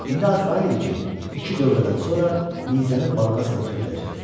İndi arxayın idi ki, iki dövrədən sonra nizəni balığa sancabiləcək.